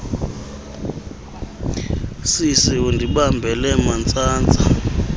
sisi undibambele mantsantsa